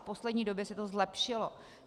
V poslední době se to zlepšilo.